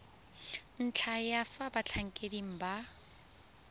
ntlha ya fa batlhankedi ba